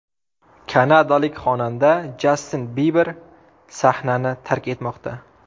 Kanadalik xonanda Jastin Biber sahnani tark etmoqda.